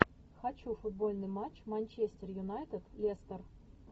хочу футбольный матч манчестер юнайтед лестер